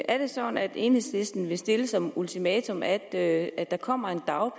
er det sådan at enhedslisten vil stille som ultimatum at at der kommer